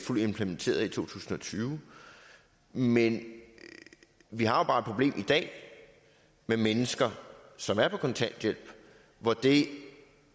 fuldt implementeret i to tusind og tyve men vi har bare et problem i dag med mennesker som er på kontanthjælp hvor det